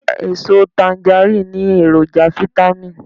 Eso tangaríìnì ní èròjà fitamì